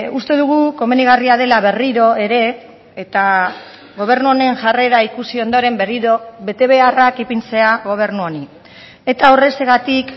uste dugu komenigarria dela berriro ere eta gobernu honen jarrera ikusi ondoren berriro betebeharrak ipintzea gobernu honi eta horrexegatik